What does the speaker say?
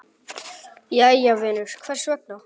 Jæja vinur, hvers vegna?